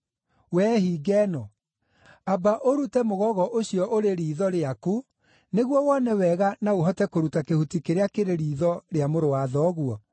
Wee hinga ĩno, amba ũrute mũgogo ũcio ũrĩ riitho rĩaku, nĩguo wone wega na ũhote kũruta kĩhuti kĩrĩa kĩrĩ riitho rĩa mũrũ wa thoguo.